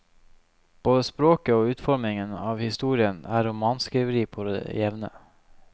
Både språket og utformingen av historien er romanskriveri på det jevne.